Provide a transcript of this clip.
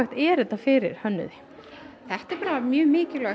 er þetta fyrir hönnuði mjög mikilvægt